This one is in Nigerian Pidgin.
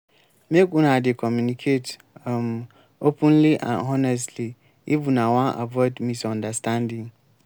make una dey communicate um openly and honestly if una wan avoid misunderstanding.